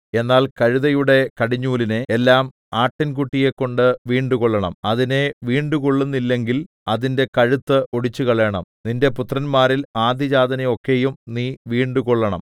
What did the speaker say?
എന്നാൽ കഴുതയുടെ കടിഞ്ഞൂലിനെ എല്ലാം ആട്ടിൻകുട്ടിയെക്കൊണ്ട് വീണ്ടുകൊള്ളണം അതിനെ വീണ്ടുകൊള്ളുന്നില്ലെങ്കിൽ അതിന്റെ കഴുത്ത് ഒടിച്ചുകളയണം നിന്റെ പുത്രന്മാരിൽ ആദ്യജാതനെ ഒക്കെയും നീ വീണ്ടുകൊള്ളണം